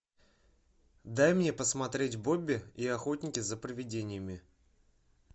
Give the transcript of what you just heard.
дай мне посмотреть бобби и охотники за привидениями